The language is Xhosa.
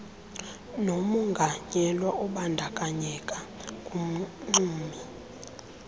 nomonganyelwa obandakanyeka kumxumi